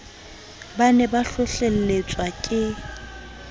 ba ne ba hlohlelletswa ke